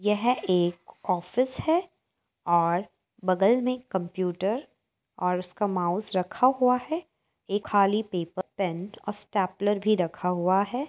यह एक ऑफिस है और बगल में कंप्यूटर और उसका माउस रखा हुआ है और एक खाली पेपर पेन और स्टेपलर भी रखा हुआ है।